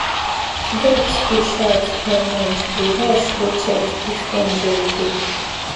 goat dey shout all night we we rush go check if injury dey